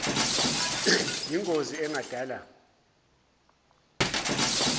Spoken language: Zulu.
yin gozi engadala